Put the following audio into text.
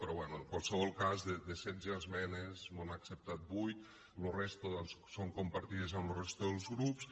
però bé en qualsevol cas de setze esmenes mos han acceptat vuit la resta doncs són compartides amb la resta dels grups